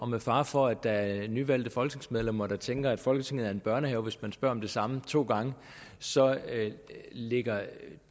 med fare for at der er nyvalgte folketingsmedlemmer der tænker at folketinget er en børnehave hvis man spørger om det samme to gange så ligger der